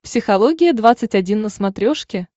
психология двадцать один на смотрешке